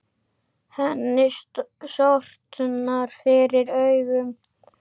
Henni sortnar fyrir augum.